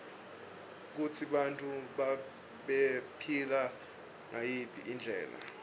kutsi bantfu bebaphila ngayiphi indlela